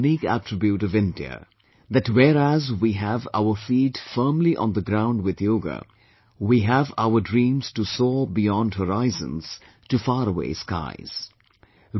And this is the unique attribute of India, that whereas we have our feet firmly on the ground with Yoga, we have our dreams to soar beyond horizons to far away skies